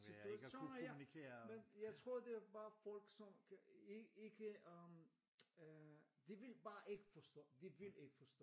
Så du ved så når jeg men jeg tror det er bare folk som kan ikke øhm de vil bare ikke forstå de vil ikke forstå